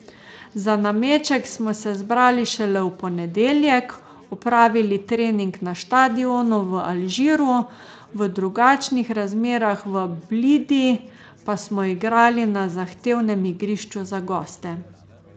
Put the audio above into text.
Za nameček smo se zbrali šele v ponedeljek, opravili trening na štadionu v Alžiru, v drugačnih razmerah v Blidi pa smo igrali na zahtevnem igrišču za goste.